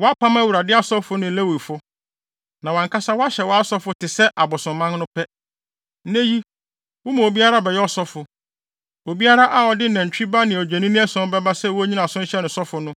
Woapam Awurade asɔfo ne Lewifo no, na woahyɛ wʼankasa asɔfo te sɛ abosomman no pɛ. Nnɛ yi, woma obiara bɛyɛ ɔsɔfo. Obiara a ɔde nantwi ba ne adwennini ason bɛba sɛ wonnyina so nhyɛ no sɔfo no,